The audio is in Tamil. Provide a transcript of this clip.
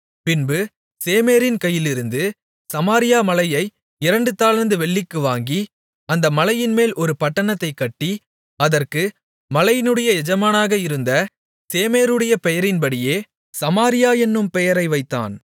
பின்பு சேமேரின் கையிலிருந்து சமாரியா மலையை இரண்டு தாலந்து வெள்ளிக்கு வாங்கி அந்த மலையின்மேல் ஒரு பட்டணத்தைக் கட்டி அதற்கு மலையினுடைய எஜமானாக இருந்த சேமேருடைய பெயரின்படியே சமாரியா என்னும் பெயரை வைத்தான்